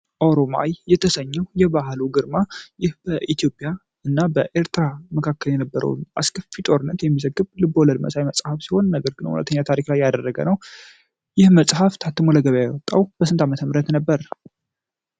ኦሮማይ የተሰኘው የበዓሉ ግርማ ይህ በኢትዮጵያ እና በኤርትራ መካከል የነበረው አስከፊ ጦርነት የሚዘግብ ልቦለድ መሳይ መፅሀፍ ሲሆን ነገር ግን እውነተኛ ታሪክ ላይ ያደረገ ነው። ይህ መፅሐፍ ታትሞ ለገበያ የወጣው በስንት አመተምህረት ነበር?